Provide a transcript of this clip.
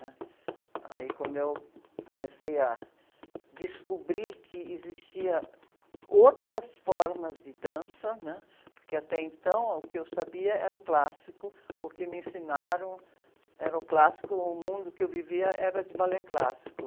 né? Aí, quando eu comecei a descobrir que existia outras formas de dança, né? Porque até então o que eu sabia era o clássico, o que me ensinaram era o clássico, o mundo que eu vivia era de balé clássico